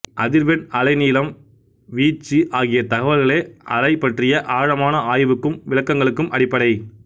அதிர்வெண் அலை நீளம் வீச்சு ஆகிய தகவல்களே அலை பற்றிய ஆழமான ஆய்வுக்கும் விளக்கங்களுக்கும் அடிப்படை